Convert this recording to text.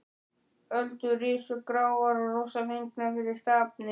Öldur risu gráar og rosafengnar fyrir stafni.